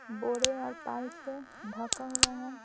बोरे और पाल से ढका हुआ है।